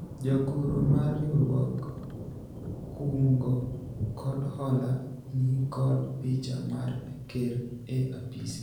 jagoro mar riwruog kungo kod hola nikod picha mar ker e apise